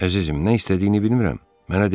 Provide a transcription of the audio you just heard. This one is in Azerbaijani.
Əzizim, nə istədiyini bilmirəm.